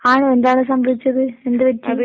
ആണോ എന്താണ് സംഭവിച്ചത്? എന്തുപറ്റി?